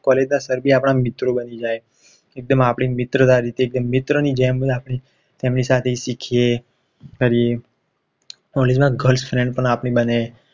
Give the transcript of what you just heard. College ના sir બી આપણા મિત્રો બની જાય છે એકદાંબ આપણી મિત્રતા રીતે મિત્રની જેમ આપણી તેની સાથે સિખિયે College માં girl friend પણ આપણી બને